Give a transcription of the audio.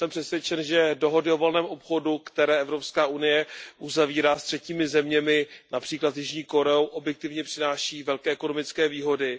Jsem přesvědčen, že dohody o volném obchodu, které Evropská unie uzavírá s třetími zeměmi, například s Jižní Koreou, objektivně přináší velké ekonomické výhody.